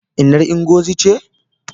Innar Ngozi ce?